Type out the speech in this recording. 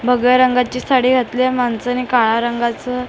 भगव्या रंगाची साडी घातलीए माणसाने काळ्या रंगाचं कपडे--